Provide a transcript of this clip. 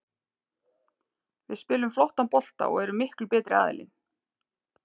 Við spilum flottan bolta og erum miklu betri aðilinn.